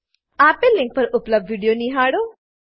આપેલ લીંક પર ઉપલબ્ધ વિડીયો નિહાળો